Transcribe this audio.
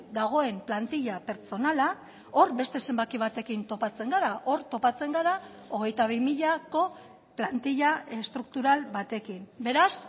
dagoen plantilla pertsonala hor beste zenbaki batekin topatzen gara hor topatzen gara hogeita bi milako plantilla estruktural batekin beraz